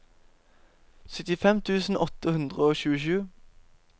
syttifem tusen åtte hundre og tjuesju